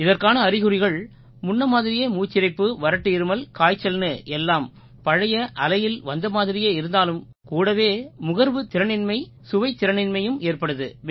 இதற்கான அறிகுறிகள் முன்ன மாதிரியே மூச்சிரைப்பு வறட்டு இருமல் காய்ச்சல்னு எல்லாம் பழைய அலையில் வந்தது மாதிரியே இருந்தாலும் கூடவே முகர்வுத் திறனின்மை சுவைத்திறனின்மையும் ஏற்படுது